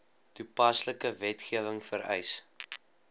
toepaslike wetgewing vereis